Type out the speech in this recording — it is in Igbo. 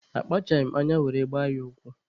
Akpachaghị m anya were gbaa ya ụkwụ.